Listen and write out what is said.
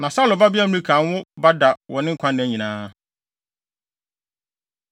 Na Saulo babea Mikal anwo ba da wɔ ne nkwa nna nyinaa.